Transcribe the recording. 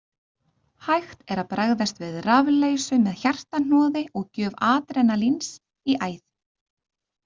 Hægt er að bregðast við rafleysu með hjartahnoði og gjöf adrenalíns í æð.